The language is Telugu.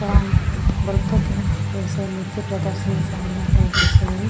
ప్రదర్శనశాల లాగా కనిపిస్తుంది.